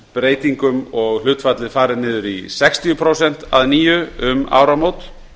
breytingum og hlutfallið farið niður í sextíu prósent að nýju um áramót